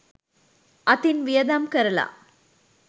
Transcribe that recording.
අතින් වියදම් කරලා